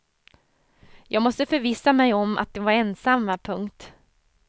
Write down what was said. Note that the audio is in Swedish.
Jag måste förvissa mig om att de var ensamma. punkt